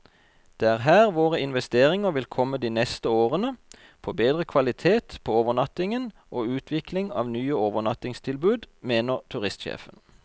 Det er her våre investeringer vil komme de neste årene, på bedre kvalitet på overnattingen og utvikling av nye overnattingstilbud, mener turistsjefen.